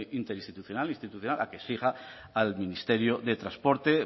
interinstitucional institucional a que siga al ministerio de transporte